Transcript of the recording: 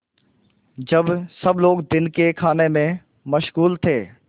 जब सब लोग दिन के खाने में मशगूल थे